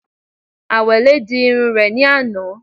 Àwẹ̀lé di irun rẹ̀ ní àná